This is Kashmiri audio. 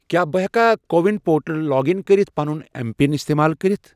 کیٛاہ بہٕ ہیٚکا CoWIN portal log in کٔرِتھ پَنُن ایم پِن استعمال کٔرِتھ؟